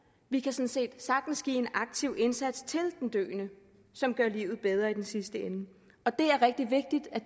vi kan sådan set sagtens give en aktiv indsats til den døende som gør livet bedre i den sidste ende det er rigtig vigtigt at